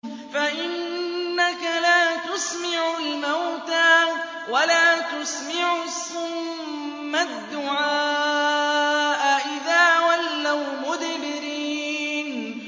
فَإِنَّكَ لَا تُسْمِعُ الْمَوْتَىٰ وَلَا تُسْمِعُ الصُّمَّ الدُّعَاءَ إِذَا وَلَّوْا مُدْبِرِينَ